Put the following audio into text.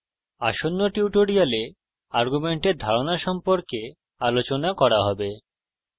আসন্ন tutorials arguments ধারণা সম্পর্কে আলোচনা করা হবে